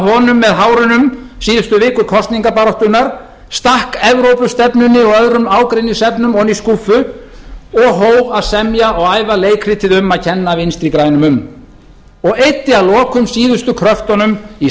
honum með hárunum síðustu vikur kosningabaráttunnar stakk evrópustefnunni og öðrum ágreiningsefnum ofan í skúffu og hóf að semja og æfa leikritið um að kenna vinstri grænum um og eyddi að lokum síðustu kröftunum í